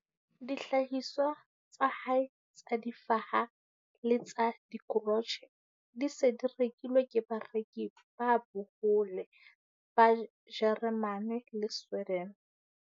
Dihlahiswa tsa hae tsa difaha le tsa dikrotjhe di se di rekilwe ke bareki ba bohole ba Jeremane le Sweden.